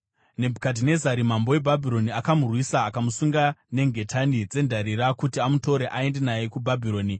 Nebhukadhinezari mambo weBhabhironi akamurwisa akamusunga nengetani dzendarira kuti amutore aende naye kuBhabhironi.